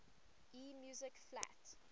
e music flat